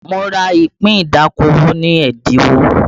Mo ra ìpín ìdókòwò ní ẹ́dínwó